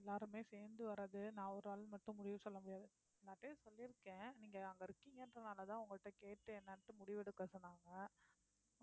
எல்லாருமே சேர்ந்து வர்றது நான் ஒரு ஆளு மட்டும் முடிவு சொல்ல முடியாது எல்லார்டையும் சொல்லிருக்கேன் நீங்க அங்க இருக்கீங்கன்றதுனாலதான் உங்கள்ட்ட கேட்டு என்னான்ட்டு முடிவெடுக்க சொன்னாங்க